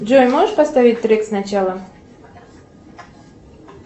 джой можешь поставить трек сначала